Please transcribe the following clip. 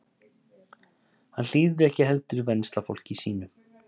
Hann hlífði ekki heldur venslafólki sínu.